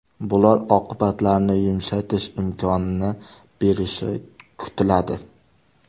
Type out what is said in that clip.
Bular oqibatlarni yumshatish imkonini berishi kutiladi.